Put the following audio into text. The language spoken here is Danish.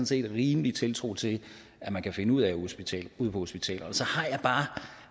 set rimelig tiltro til at man kan finde ud af ude på hospitalerne så har